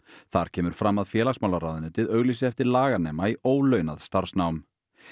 þar kemur fram að félagsmálaráðuneytið auglýsi eftir laganema í ólaunað starfsnám